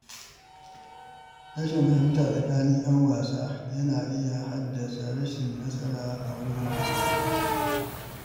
Rashin fahimta tsakanin ‘yan wasa yana iya haddasa rashin nasara a wurin wasa.